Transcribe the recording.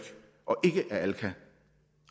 og alka